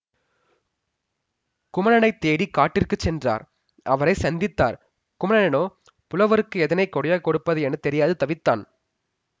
குமணனைத் தேடி காட்டிற்கு சென்றார் அவனை சந்தித்தார் குமணனனோ புலவருக்கு எதனைக் கொடையாக கொடுப்பது என தெரியாது தவித்தான்